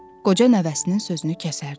Qoca nəvəsinin sözünü kəsərdi.